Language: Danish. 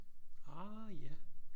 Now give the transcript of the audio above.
Ah ja